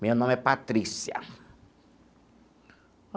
Meu nome é Patrícia.